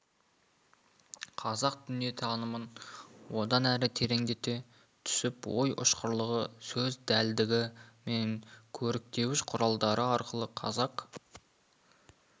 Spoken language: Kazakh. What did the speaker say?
қазақ дүниетанымын одан әрі тереңдете түсіп ой ұшқырлығы сөз дәлдігі мен көріктеуіш құралдары арқылы қазақ